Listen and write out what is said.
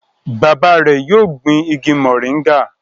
Bàbá rẹ yóò gbìn ìgi moringa